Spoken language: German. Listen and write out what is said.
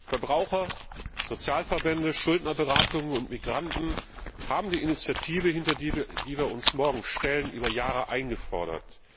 Verbraucher, Sozialverbände, Schuldnerberatungen und Migranten haben die Initiative, hinter die wir uns morgen stellen, über Jahre eingefordert.